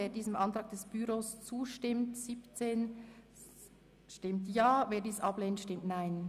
Wer diesem Antrag zustimmt, stimmt Ja, wer diesen ablehnt, stimmt Nein.